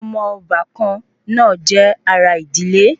Omo obakan naa je ara idile